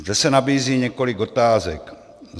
Zde se nabízí několik otázek.